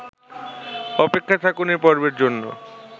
অপেক্ষায় থাকুন এ পর্বের জন্য